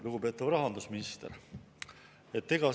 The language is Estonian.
Lugupeetav rahandusminister!